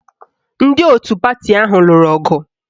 Ndị otu pati ahụ lụrụ ọgụ